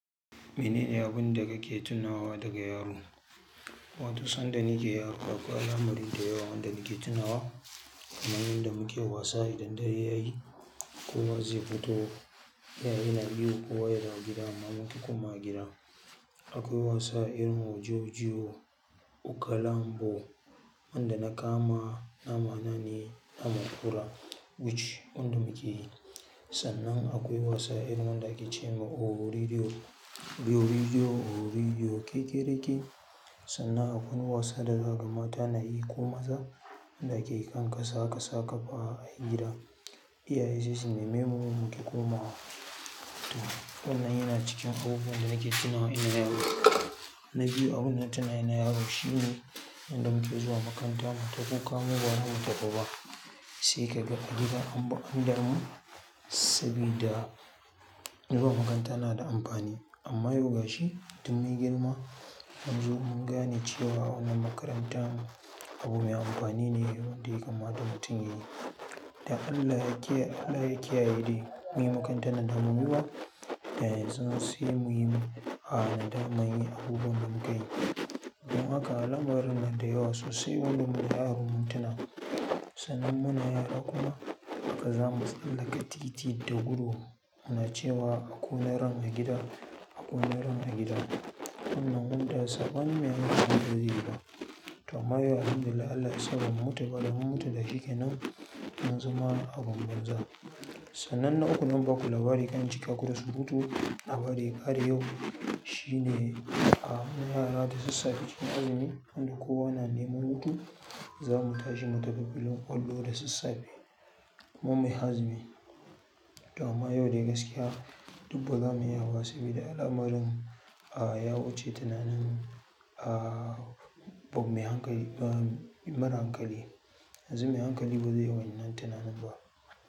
Mene ne abun da kake tunawa daga yaro? Wato, sanda nike yaro akwai alamari dayawa wand nike tunawa, kamar yanda muke wasa idan dare yayi, kowa zai fito, iyaye na ihu kowa ya dawo gida amma mun ƙi komawa gida. Akwai wasa irin oji oji o, ukalambo, wanda na kama nama na ne naman ƙura, which wanda muke yi. Sannan akwai wasa irin wanda akece ma "Ohu radio, biyu radio, ohu radio" kekereke. Sannan akwai wani wasa da za kaga mata nayi ko maza, wanda ake yi kan ƙasa, ƙasa ƙaf ayi gida. Iyaye sai su neme mu mu ƙi komawa. To wannan yana cikin abubuwan da nake tunawa ina yaro. Na biyu abinda na tina ina yaro shine, yanda mu ke zuwa makaranta mu ta kuka mu ba za mu tafi ba sai kaga a gida anbj an damu, sabida zuwa makaranta na da amfani. Amma yau gashi duk mun girma, yanzu mun gane cewa wannan makarantar abu mai amfani ne wanda ya kamata mutum yayi. Da Allah yake, Allah yakiyaye dai, mun yi makarantar nan da bamu yi ba, da yanzun sai muyi a nasaman irin abubuwan da muka yi. Don haka alamarin nan da yawa sosai waɗanda da yaron na tuna. Sannan muna yara kuma, haka zamu tsallaka titi da gudu, muna cewa "aku na ran a gidan, aku na ran a gidan". Wannan wanda sabon mu yanzu munzo gida. To amma yau Alhamdulillah Allah ya sa bamu mutu ba da mun mutu da shikenan mun zama abin banza. Sannan na uku zan baku labari kar in cika ku dq surutu labari ya ƙare yau, shine a mun yara da sassafe cikin azumi, wanda kowa na neman hutu, zamu tashi mu tafi fillin ƙwallo da sassafe. Kaman mai azumi. To amma yau dai gaskiya, duk ba zamu iya ba sabida alamarun, a ya wuce tunanin, a mai hankali, a mara hankali. Yanzu mai hankali ba zai wani nan tunanin ba.